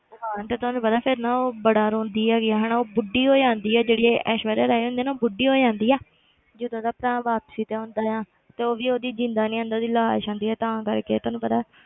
ਤੇ end ਤੁਹਾਨੂੰ ਪਤਾ ਫਿਰ ਨਾ ਉਹ ਬੜਾ ਰੋਂਦੀ ਹੈਗੀ ਆ ਹਨਾ ਉਹ ਬੁੱਢੀ ਹੋ ਜਾਂਦੀ ਆ ਜਿਹੜੀ ਐਸ਼ਵਰੀਆ ਰਾਏ ਹੁੰਦੀ ਆ ਨਾ ਉਹ ਬੁੱਢੀ ਹੋ ਜਾਂਦੀ ਆ ਜਦੋਂ ਉਹਦਾ ਭਰਾ ਵਾਪਸੀ ਤੇ ਆਉਂਦਾ ਆ ਤੇ ਉਹ ਵੀ ਉਹਦੀ ਜ਼ਿੰਦਾ ਨੀ ਆਉਂਦਾ ਉਹਦੀ ਲਾਸ਼ ਆਉਂਦੀ ਆ ਤਾਂ ਕਰਕੇ ਤੁਹਾਨੂੰ ਪਤਾ,